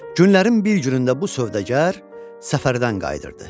Günlərin bir günündə bu sövdəgər səfərdən qayıdırdı.